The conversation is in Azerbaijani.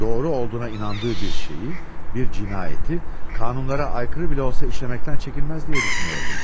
Doğru olduğuna inandığı bir şeyi, bir cinayəti qanunlara aykırı belə olsa işləməkdən çəkinməz deyə düşünürdüm.